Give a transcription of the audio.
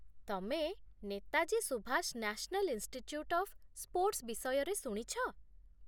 ତମେ Netaji Subhas national institute of sports ବିଷୟରେ ଶୁଣିଛ?